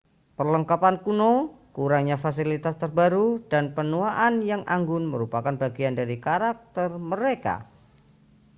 perlengkapan kuno kurangnya fasilitas terbaru dan penuaan yang anggun merupakan bagian dari karakter mereka